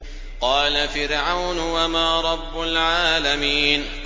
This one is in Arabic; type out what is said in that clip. قَالَ فِرْعَوْنُ وَمَا رَبُّ الْعَالَمِينَ